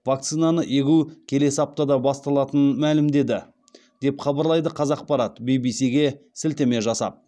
вакцинаны егу келесі аптада басталатынын мәлімдеді деп хабарлайды қазақпарат ввс ге сілтеме жасап